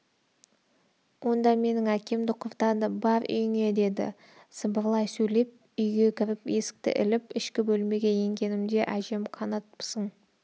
онда менің әкемді құртады бар үйіңе деді сыбырлай сөйлеп үйге кіріп есікті іліп ішкі бөлмеге енгенімде әжем қанатпысың